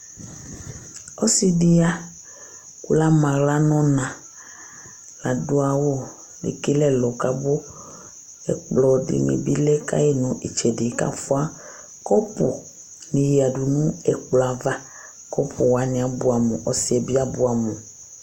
Ɔsi ya kʋ lama aɣla nʋ ɔna Ladu awʋ Ekele ɛlɔ kʋ abʋ Ɛkplɔ dìní bi lɛ ka yi nʋ itsɛdi kʋ afʋa kɔpu ní ya nʋ ɛkplɔ ava Kɔpu wani abʋɛ amu Ɔsi yɛ bi abʋɛ amu